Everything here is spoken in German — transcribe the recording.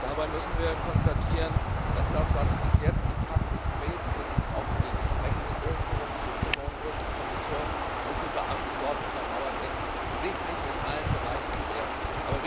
Dabei müssen wir feststellen, dass das, was bisher Praxis gewesen ist und mit den entsprechenden Durchführungsbestimmungen durch die Kommission und ihre Beamten untermauert wird, sich nicht in allen Bereichen bewährt hat.